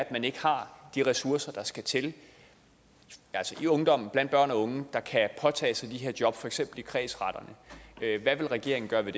at man ikke har de ressourcer der skal til altså i ungdommen blandt børn og unge der kan påtage sig de her job for eksempel i kredsretterne hvad vil regeringen gøre ved